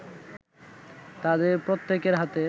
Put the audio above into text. তাদের প্রত্যেকের হাতে